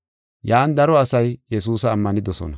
Yan daro asay Yesuusa ammanidosona.